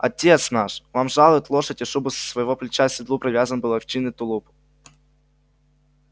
отец наш вам жалует лошадь и шубу со своего плеча к седлу привязан был овчинный тулуп